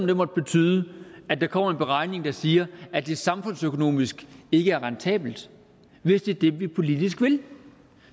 det måtte betyde at der kommer en beregning der siger at det samfundsøkonomisk ikke er rentabelt hvis det er det vi politisk vil